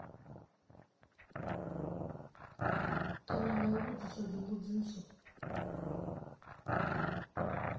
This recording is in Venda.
kana nga u vhudzisa dzimbudziso